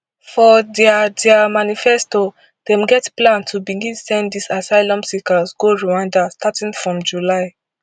for dia dia manifesto dem get plan to begin send these asylum seekers go rwanda starting from july